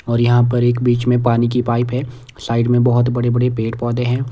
और यहां पर एक बीच में पानी की पाइप है साइड में बहोत बड़े बड़े पेड़ पौधे हैं।